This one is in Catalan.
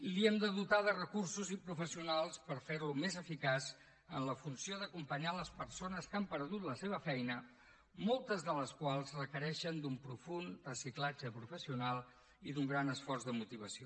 l’hem de dotar de recursos i professionals per ferlo més eficaç en la funció d’acompanyar les persones que han perdut la seva feina moltes de les quals requereixen un profund reciclatge professional i un gran esforç de motivació